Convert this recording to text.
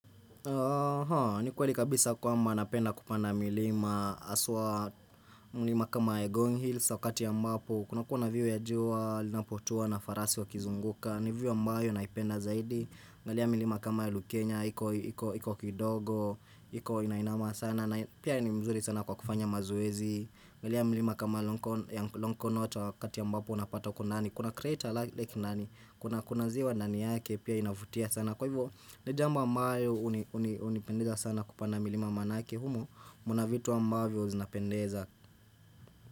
Haa ni kweli kabisa kwamba napenda kupanda milima haswa milima kama Egon Hills wakati ambapo kunakuwa view ya jua linapotua na farasi wakizunguka ni view ambayo naipenda zaidi angalia milima kama Lukenya iko kidogo iko inainama sana na pia ni mzuri sana kwa kufanya mazoezi angalia milima kama Longonot wakati ambapo unapata kuna kuna creator lake nani kuna Kuna ziwa nani yake pia inavutia sana Kwa hivyo ni jambo ambayo hunipendeza sana kupanda milima manake humo mna vitu ambavyo zinapendeza.